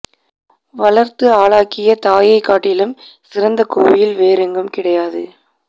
வளர்த்து ஆளாக்கிய தாயைக் காட்டிலும் சிறந்த கோயில் வேறெங்கும் கிடையாது